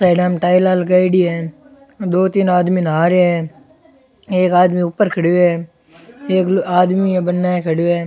टायला में टायला लगायोडी है दो तीन आदमी नहा रिया है एक आदमी ऊपर खड़यो है एक आदमी है बने खड़ियो है।